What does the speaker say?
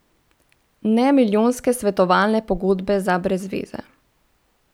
Ne milijonske svetovalne pogodbe za brezzveze.